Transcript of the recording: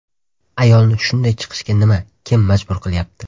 Ayolni shunday chiqishga nima, kim majbur qilyapti?